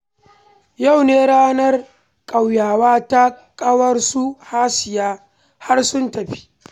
Yau ne ranar ƙauyawa ta ƙawar su Hasiya, har sun tafi